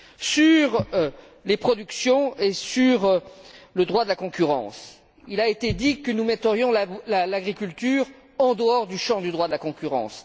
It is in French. Sur les productions et sur le droit de la concurrence, il a été dit que nous mettrions l'agriculture en dehors du champ du droit de la concurrence.